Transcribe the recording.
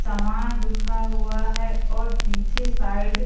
सामान रूखा हुआ है और पीछे साइड --